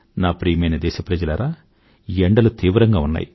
ప్రియమైన నా దేశ ప్రజలారా ఎండలు తీవ్రంగా ఉన్నాయి